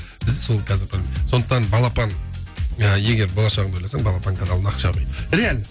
біз сол қазіргі таңда сондықтан балапан ы егер болашағыңды ойласаң балапан каналына ақша құй реально